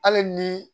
Hali ni